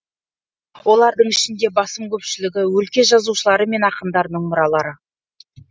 олардың ішінде басым көпшілігі өлке жазушылары мен ақындарының мұралары